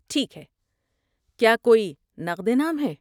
ٹھیک ہے، کیا کوئی نقد انعام ہے؟